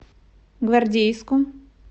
гвардейску